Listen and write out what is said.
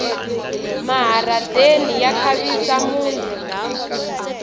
maharadeni ya khavisa muti